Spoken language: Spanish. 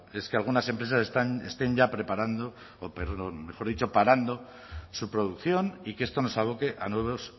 es que algunas empresas estén ya parando su producción y que esto nos aboque a nuevos